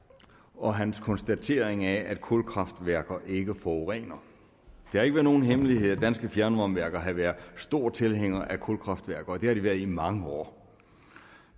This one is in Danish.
og hans konstatering af at kulkraftværker ikke forurener det er ikke nogen hemmelighed at danske fjernvarmeværker har været store tilhængere af kulkraftværker og det har de været i mange år